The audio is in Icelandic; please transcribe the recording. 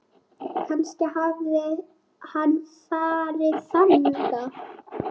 Kannski hafði hann farið þangað.